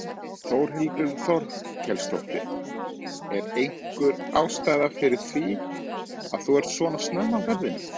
Þórhildur Þorkelsdóttir: Er einhver ástæða fyrir því að þú ert svona snemma á ferðinni?